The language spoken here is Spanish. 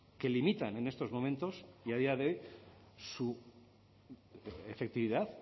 que limitan en estos momentos y a día de hoy su efectividad